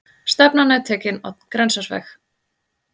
Stefnan er tekin á Grensásveg.